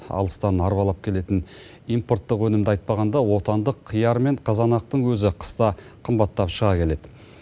алыстан арбалап келетін импорттық өнімді айтпағанда отандық қияр мен қызанақтың өзі қыста қымбаттап шыға келеді